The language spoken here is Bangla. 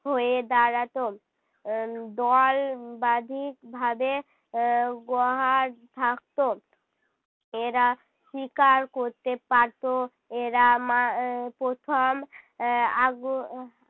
হয়ে দাঁড়াতো আহ দল বাধিক ভাবে আহ গোহার থাকতো। এরা শিকার করতে পারতো। এরা মা আহ প্রথম আহ আগু~ আহ